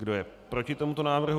Kdo je proti tomuto návrhu?